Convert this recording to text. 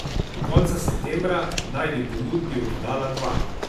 Do konca septembra naj bi ponudbi oddala dva.